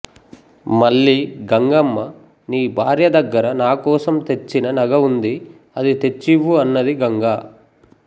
మళ్ళీ గంగమ్మ నీ భార్యదగ్గర నాకోసం తెచ్చిన నగ ఉంది అది తెచ్చివ్వు అన్నది గంగ